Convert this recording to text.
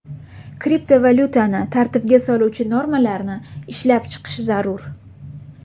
Kriptovalyutani tartibga soluvchi normalarni ishlab chiqish zarur.